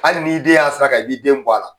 Hali n'i y'i den y'a sara kan, i b'i den bɔ a la.